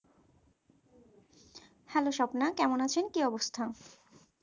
hello Swapna কেমন আছেন কি অবস্থা?